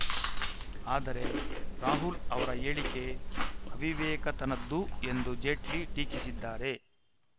ಆದರೆ ರಾಹುಲ್‌ ಅವರ ಈ ಹೇಳಿಕೆ ಅವಿವೇಕತನದ್ದು ಎಂದು ಜೇಟ್ಲಿ ಟೀಕಿಸಿದ್ದಾರೆ